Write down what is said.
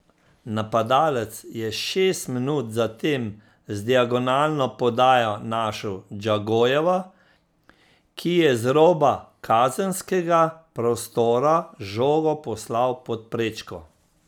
Napadalec je šest minut zatem z diagonalno podajo našel Džagojeva, ki je z roba kazenskega prostora žogo poslal pod prečko.